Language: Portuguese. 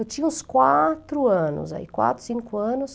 Eu tinha uns quatro anos aí, quatro, cinco anos.